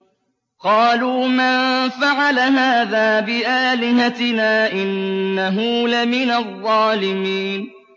قَالُوا مَن فَعَلَ هَٰذَا بِآلِهَتِنَا إِنَّهُ لَمِنَ الظَّالِمِينَ